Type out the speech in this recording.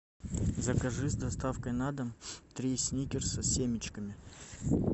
закажи с доставкой на дом три сникерса с семечками